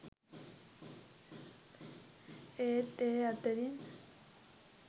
ඒත් ඒ අතරින්